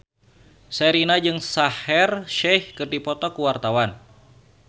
Sherina jeung Shaheer Sheikh keur dipoto ku wartawan